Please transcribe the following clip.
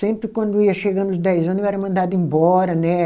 Sempre quando ia chegando os dez ano, eu era mandada embora, né?